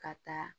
Ka taa